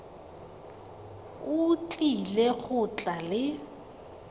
o tlile go tla le